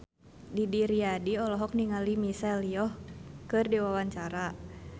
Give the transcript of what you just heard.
Didi Riyadi olohok ningali Michelle Yeoh keur diwawancara